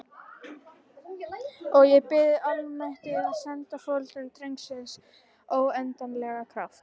Og ég bið almættið að senda foreldrum drengsins óendanlegan kraft.